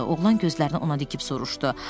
Oğlan gözlərini ona dikib soruşdu.